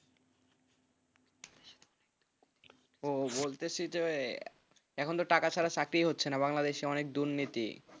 বলতেসি যে এখন তো টাকা ছাড়া চাকরি হচ্ছে না বাংলাদেশে অনেক দুর্নীতি।